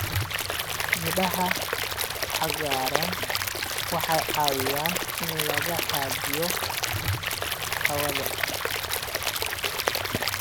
Midhaha cagaaran waxay caawiyaan in la hagaajiyo hawada.